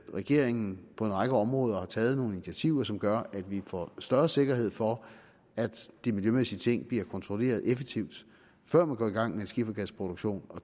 regeringen på en række områder har taget nogle initiativer som gør at vi får større sikkerhed for at de miljømæssige ting bliver kontrolleret effektivt før man går i gang med en skifergasproduktion